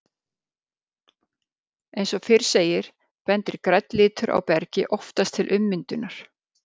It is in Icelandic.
Eins og fyrr segir, bendir grænn litur á bergi oftast til ummyndunar.